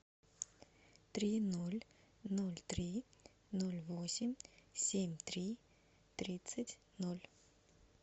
три ноль ноль три ноль восемь семь три тридцать ноль